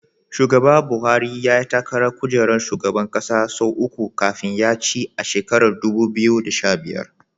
Shugaba Buhari yayi takarar kujerar shugaban ƙasa sau uku kafin ya ci a shekarar dubu biyu da sha biyar.